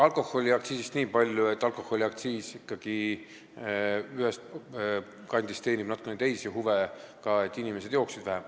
Alkoholiaktsiisist niipalju, et alkoholiaktsiis ikkagi ühest kandist teenib natukene teisi huve ka, selle eesmärk on, et inimesed jooksid vähem.